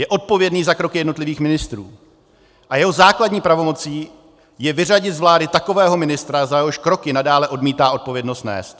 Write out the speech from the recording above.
Je odpovědný za kroky jednotlivých ministrů a jeho základní pravomocí je vyřadit z vlády takového ministra, za jehož kroky nadále odmítá odpovědnost nést.